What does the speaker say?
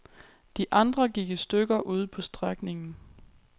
De andre gik i stykker ude på strækningen.